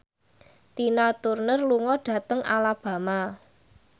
Tina Turner lunga dhateng Alabama